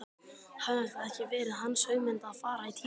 Hafði það ekki verið hans hugmynd að fara í Tívolí?